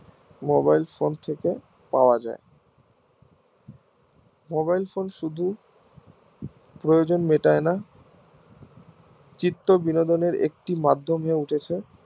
mobile phone থেকে পাওয়া যাই mobile phone শুধু প্রয়োজন মেটায় না চিত্র বিনোদনের একটি মাধ্যম হয়ে উঠেছে